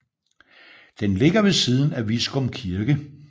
Den ligger ved siden af Viskum Kirke